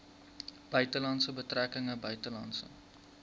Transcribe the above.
buitelandse betrekkinge buitelandse